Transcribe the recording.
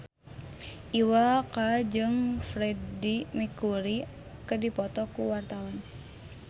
Iwa K jeung Freedie Mercury keur dipoto ku wartawan